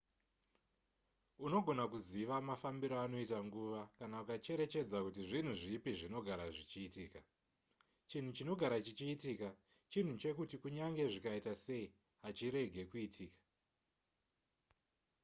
unogona kuziva mafambiro anoita nguva kana ukacherechedza kuti zvinhu zvipi zvinogara zvichiitika chinhu chinogara chichiitika chinhu chekuti kunyange zvikaita sei hachirege kuitika